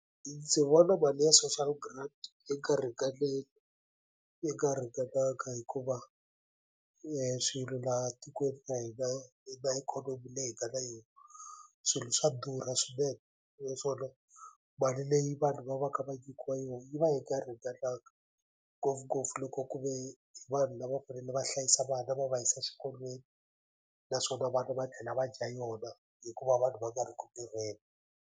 Ndzi vona mali ya social grant yi nga ringaneli yi nga ringananga hikuva swilo laha tikweni ra hina na ikhonomi leyi hi nga ka yona swilo swa durha naswona mali leyi vanhu va va ka va nyikiwa yona yi va yi nga ringananga ngopfungopfu loko ku ve hi vanhu lava fanele va hlayisa vana va va yisa xikolweni naswona vana va tlhela va dya yona hikuva vanhu va nga ri ku tirheni.